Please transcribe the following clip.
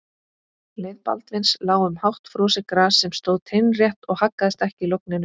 Leið Baldvins lá um hátt frosið gras sem stóð teinrétt og haggaðist ekki í logninu.